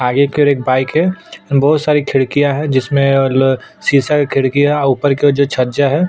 आगे की ओर एक बाइक है बहुत सारी खिड़कियां है जिसमे ल सीसा की खिड़कियां है ऊपर की ओर जो छज्जा है।